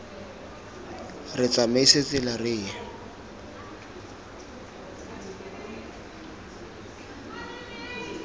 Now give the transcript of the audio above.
re tsamaise tsela re ye